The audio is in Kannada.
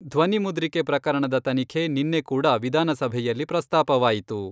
ಧ್ವನಿ ಮುದ್ರಿಕೆ ಪ್ರಕರಣದ ತನಿಖೆ ನಿನ್ನೆ ಕೂಡ ವಿಧಾನಸಭೆಯಲ್ಲಿ ಪ್ರಸ್ತಾಪವಾಯಿತು.